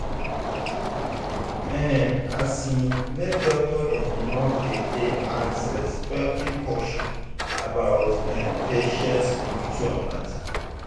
ehn asin make doctor and nurse dey dey ask respectful question about[um]patient spiritual matter.